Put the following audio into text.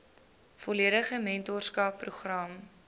volledige mentorskap program